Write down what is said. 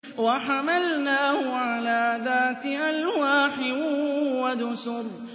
وَحَمَلْنَاهُ عَلَىٰ ذَاتِ أَلْوَاحٍ وَدُسُرٍ